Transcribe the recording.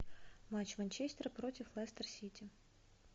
матч манчестер против лестер сити